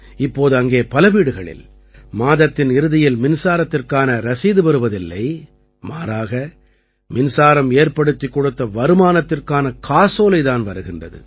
இப்போது அங்கே பல வீடுகளில் மாதத்தின் இறுதியில் மின்சாரத்திற்கான ரசீது வருவதில்லை மாறாக மின்சாரம் ஏற்படுத்திக் கொடுத்த வருமானத்திற்கான காசோலை தான் வருகின்றது